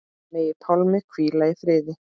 Megi Pálmi hvíla í friði.